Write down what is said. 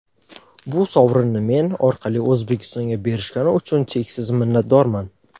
Bu sovrinni men orqali O‘zbekistonga berishgani uchun cheksiz minnatdorman.